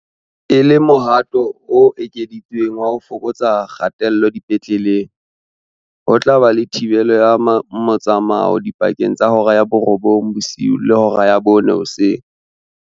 E le mohato o ekeditsweng wa ho fokotsa kgatello dipetleleng, ho tla ba le thibelo ya motsamao dipakeng tsa hora ya borobong bosiu le hora ya bone hoseng.